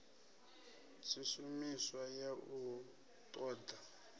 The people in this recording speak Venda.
tshishumiswa ya u ṱo ḓa